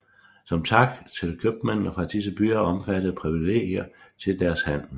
Som tak fik købmændene fra disse byer omfattende privilegier til deres handel